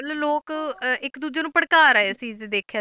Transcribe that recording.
ਮਤਲਬ ਲੋਕ ਅਹ ਇੱਕ ਦੂਜੇ ਨੂੰ ਭੜਕਾ ਰਹੇ ਸੀ ਜੇ ਦੇਖਿਆ,